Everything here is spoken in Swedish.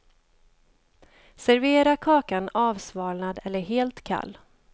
Servera kakan avsvalnad eller helt kall.